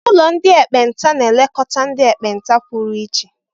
Ụlọ ndị ekpenta na-elekọta ndị ekpenta pụrụ iche.